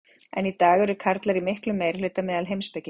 Enn í dag eru karlar í miklum meirihluta meðal heimspekinga.